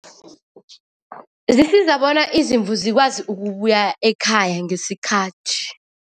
Zisiza bona izimvu zikwazi ukubuya ekhaya ngesikhathi.